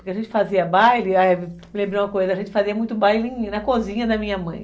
Porque a gente fazia baile, lembrou uma coisa, a gente fazia muito baile na cozinha da minha mãe.